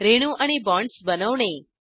रेणू आणि बाँडस बनवणे